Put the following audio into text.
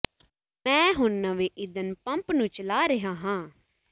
ਮੈਂ ਹੁਣ ਨਵੇਂ ਈਂਧਨ ਪੰਪ ਨੂੰ ਚਲਾ ਰਿਹਾ ਹਾਂ